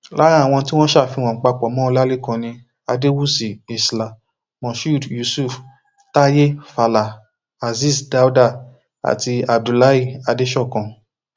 lára àwọn tí wọn ṣàfihàn papọ mọ ọlálẹkan ni adéwúsì isla moshood yusuf táyé fàlà azeez dáúdá àti abdullahi adẹsọkàn